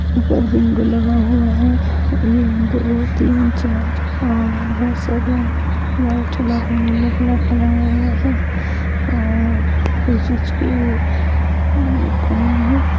ऊपर विंडो लगा हुआ है एक दो तीन चार लोग बहुत सारे व्हाइट कलर के नीले कलर के और कुछ इसके